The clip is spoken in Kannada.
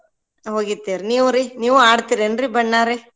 ಹೋಗಿರ್ತೇವ್ರಿ. ನೀವ್ರಿ ನೀವೂ ಆಡ್ತಿರೇನ್ರಿ ಬಣ್ಣಾ ರಿ?